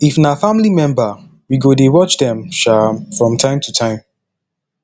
if na family member we go dey watch dem um from time to time